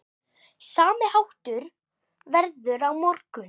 Sami háttur verður á morgun.